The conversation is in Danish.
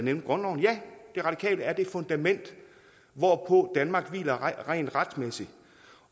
ja grundloven er det fundament hvorpå danmark hviler rent retsmæssigt